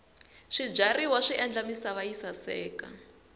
swibyariwa swi endla misava yi saseka